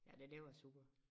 Ja det det var super